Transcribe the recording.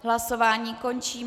Hlasování končím.